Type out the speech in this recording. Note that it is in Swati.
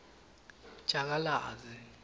jakalazi